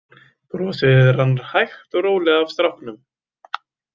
Brosið rann hægt og rólega af stráknum.